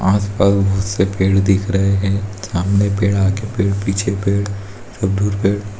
आस-पास बहुत से पेड़ दिख रहे है सामने पेड़ आगे पेड़ पीछे पेड़ पेड़।